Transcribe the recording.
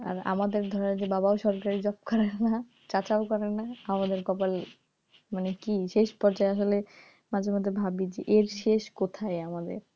আর আমাদের ধরো যে আমার বাবাও সরকারি job করে না চাচা করে না আমাদের কপাল মানে কি শেষ পর্যায়ে আসলে মাঝে মধ্যে ভাবি এর শেষ কোথায় আমাদের,